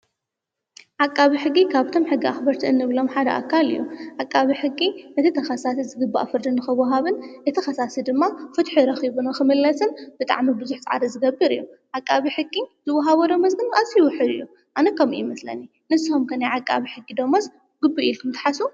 ዓቃቢ ሕጊ ካብቶም ሕጊ ኣኽበርቲ እንብሎም ሓደ ኣካል እዩ፡፡ ዓቃቢ ሕጊ እቲ ተኸሳሲ ዝግባእ ፍርድ ንኽወሃቦን እቲ ኸሳሲ ድማ ፍትሒ ረኺቡ ንክምለስን ብጣዕሚ ብዙሕ ፃዓሪ ዝገብር እዩም፡፡ ዓቃቢ ሕጊ ዝውሃቦ ደሞዝ ግን ኣዝዩ ውሑድ እዩ፡፡ ኣነ ከምኡ ይመስለኒ፡፡ ንስኹም ከ ናይ ዓቃቢ ሕጊ ዶሞዝ ግቡእ እዩ ኢልኩም ዶትሓስቡ?